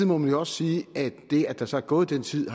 må man jo også sige at det at der så er gået den tid